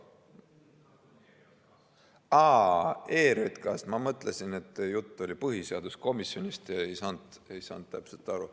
Aa, ERJK‑st. Ma mõtlesin, et jutt oli põhiseaduskomisjonist, ei saanud täpselt aru.